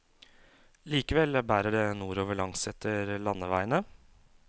Likevel bærer det nordover langsetter landeveiene.